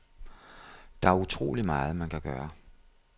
Der er utroligt meget, man kan gøre.